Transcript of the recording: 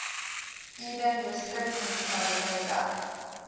eden distriksmunisipaliteit dek